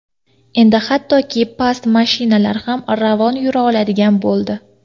Endi hattoki past mashinalar ham ravon yura oladigan bo‘ldi.